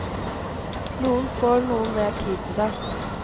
Noen får noe mer tid på seg.